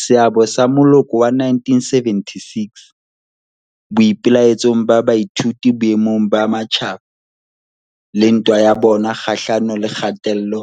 Seabo sa moloko wa 1976 boipelaetsong ba baithuti boemong ba matjhaba le ntwa ya bona kgahlano le kgatello